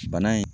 Bana in